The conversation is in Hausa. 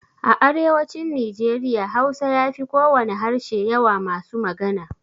A arewacin Nijeriya Hausa ya fi kowane harshe yawa masu magana.